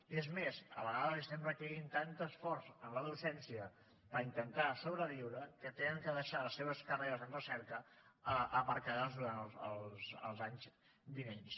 i és més a vegades els estem requerint tant d’esforç en la docència per intentar sobreviure que han de deixar les seves carreres en recerca aparcades durant els anys vinents